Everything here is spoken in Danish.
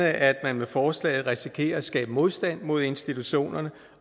at man med forslaget risikerer at skabe modstand mod institutionerne